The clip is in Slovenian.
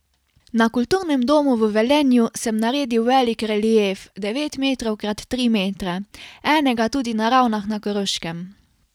Na kulturnem domu v Velenju sem naredil velik relief devet metrov krat tri metre, enega tudi na Ravnah na Koroškem.